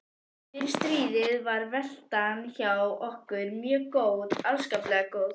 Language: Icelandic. Fyrir stríðið var veltan hjá okkur mjög góð, afskaplega góð.